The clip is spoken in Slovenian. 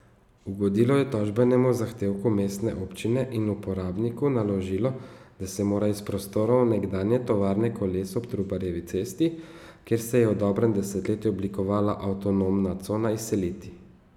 Ugodilo je tožbenemu zahtevku mestne občine in uporabniku naložilo, da se mora iz prostorov nekdanje tovarne koles ob Trubarjevi cesti, kjer se je v dobrem desetletju oblikovala avtonomna cona, izseliti.